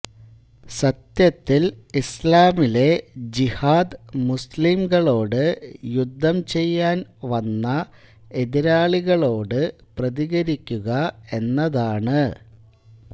സത്യത്തിൽ ഇസ്ലാമിലെ ജിഹാദ് മുസ്ലിം കളോട് യുദ്ധം ചെയ്യാൻ വന്ന എതിരാളികളോട് പ്രതികരിക്കുക എന്നതാണ്